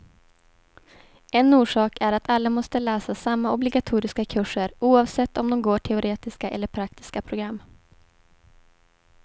En orsak är att alla måste läsa samma obligatoriska kurser, oavsett om de går teoretiska eller praktiska program.